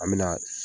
An me na